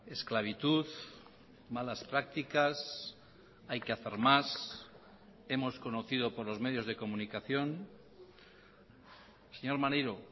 esclavitud malas prácticas hay que hacer más hemos conocido por los medios de comunicación señor maneiro